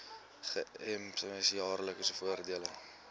gems jaarlikse voordele